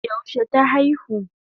Yaushe ta aihu?